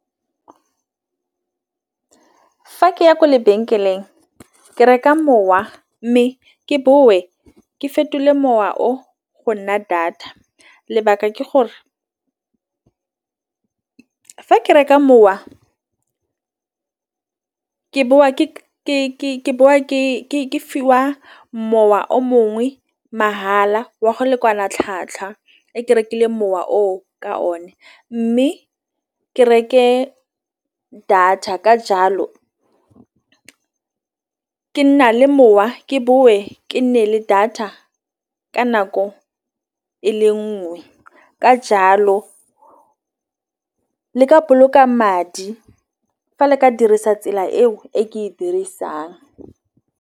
Fa ke ya kwa lebenkeleng ke reka mowa, mme ke boe ke fetole mowa o go nna data. Lebaka ke gore ke reka mowa ke bowa ke bo ke fiwa mowa o mongwe mahala wa go lekana tlhwatlhwa e ke rekile mowa o ka o ne mme ke reke data ka jalo ke ke nna le mowa ke boe ke nne le data ka nako e le nngwe ka jalo le ka boloka madi fa le ka dirisa tsela eo e ke e dirisang.